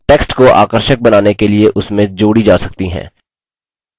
text को आकर्षक बनाने के लिए उसमें जोड़ी जा सकती हैं